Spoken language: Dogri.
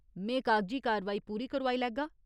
में कागजी कारवाई पूरी करोआई लैगा।